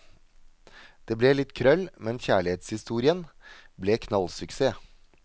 Det ble litt krøll, men kjærlighetshistorien ble knallsuksess.